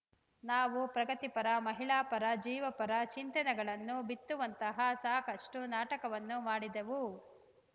ನಾವು ಪ್ರಗತಿಪರ ಮಹಿಳಾಪರ ಜೀವಪರ ಚಿಂತನೆಗಳನ್ನು ಬಿತ್ತುವಂತಹ ಸಾಕಷ್ಟುನಾಟಕವನ್ನು ಮಾಡಿದೆವು